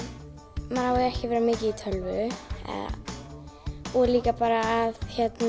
maður á ekki að vera mikið í tölvu og líka bara að